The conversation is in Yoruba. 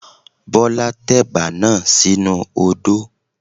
Bọ́lá tẹ̀bà náà sínu odó.